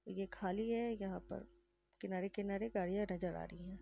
ये खाली है। यहाँ पर किनारे - किनारे गाड़ियाँ नज़र आ रही हैं।